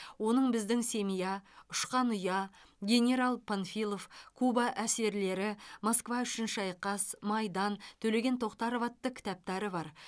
оның біздің семья ұшқан ұя генерал панфилов куба әсерлері москва үшін шайқас майдан төлеген тоқтаров атты кітаптары бар